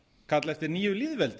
kalla eftir nýju lýðveldi